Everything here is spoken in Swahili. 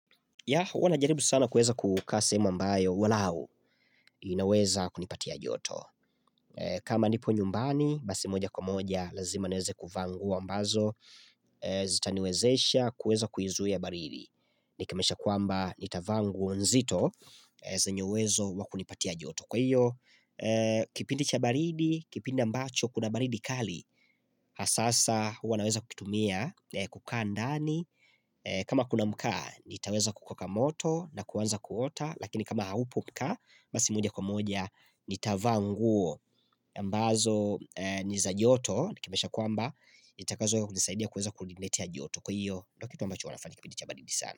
Huwa najaribu sana kuweza kukaa sehemu ambayo, walao inaweza kunipatia joto. Kama nipo nyumbani, basi moja kwa moja, lazima niweze kuvaa nguo ambazo. Zitaniwezesha kuweza kuizuia baridi. Nikimanisha kwamba nitavaa nguo nzito zenye uwezo wa kunipatia joto. Kwa hiyo, kipindi cha baridi, kipindi ambacho, kuna baridi kali sasa, huwa naweza kukitumia, kukaa ndani kama kuna mkaa, nitaweza kukoka moto na kuanza kuota Lakini kama haupo mkaa, basi moja kwa moja, nitavaa nguo ambazo, ni za joto, nikimanisha kwamba, nitakazo nisaidia kuweza kuniletea joto Kwa hiyo, ndio kitu ambacho huwa nafanya kipindi cha baridi sana.